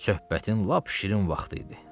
Söhbətin lap şirin vaxtı idi.